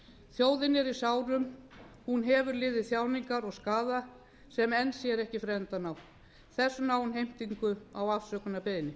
þjóðin er í sárum hún hefur liðið þjáningar og skaða sem enn sér ekki fyrir endann á þess vegna á hún heimtingu á afsökunarbeiðni